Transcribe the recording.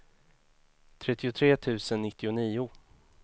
trettiotre tusen nittionio